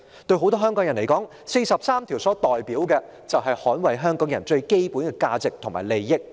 對很多香港人而言，《基本法》第四十三條所代表的，便是特首應捍衞香港人最基本的價值和利益。